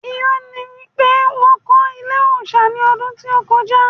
Irọ́ ni pé wọ́n kọ́ ilé òòsà ní ọdún tí ó kọjá